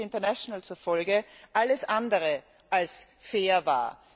Amnesty International zufolge, alles andere als fair war.